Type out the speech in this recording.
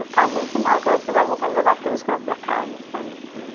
Eu ficava muito mal, porque ela sempre dava vontade de levar todas as crianças para casa, sabe?